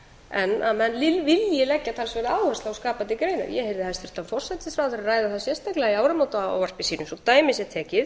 en að menn vilji leggja talsverða áherslu á skapandi greinar ég heyrði hæstvirtan forsætisráðherra ræða það sérstaklega í áramótaávarpi sínu svo dæmi sé tekið